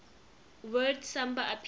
word samba appeared